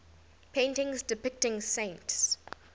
paintings depicting saints